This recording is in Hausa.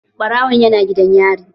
Ɓarawon yana gidan yari.